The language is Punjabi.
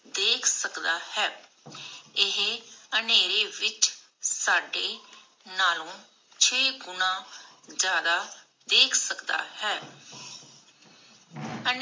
ਦੇਖ ਸਕਦਾ ਹੈ. ਇਹ ਅੰਧੇਰੇ ਵਿਚ ਸਾਡੇ ਨਾਲੂ ਛੇ ਗੁਨਾ ਜ਼ਯਾਦਾ ਦੇਖ ਸਕਦਾ ਹੈ.